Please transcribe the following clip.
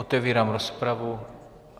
Otevírám rozpravu.